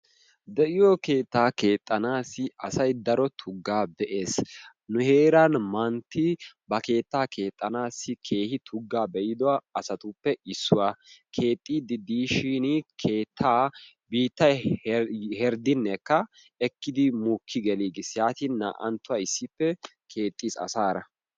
De'iyoo keettaa keexxanasi asay daro tuggaa be'ees. nu heeran mantti ba keettaa keexxanassi keehi tuggaa be'ida asatuppe issuwaa. keexxiidi diishin keettaa biittay heriddinekka ekkidi naa"anttuwaa keexxiis asaara.